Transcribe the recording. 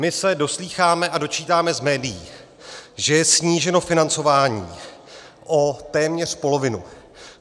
My se doslýcháme a dočítáme z médií, že je sníženo financování o téměř polovinu.